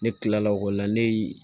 Ne kila la o la ne ye